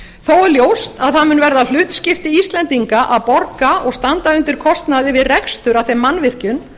er ljóst að það mun verða hlutskipti íslendinga að borga og standa undir kostnaði við rekstur af þeim mannvirkjum